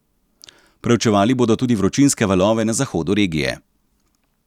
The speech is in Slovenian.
Preučevali bodo tudi vročinske valove na zahodu regije.